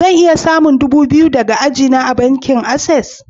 Zan iya samun dubu biyu daga ajia na a'bankin access?